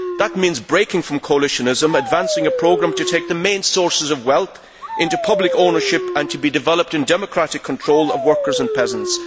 That means breaking from coalitionism, and advancing a programme to take the main sources of wealth into public ownership and to be developed in democratic control of workers and peasants.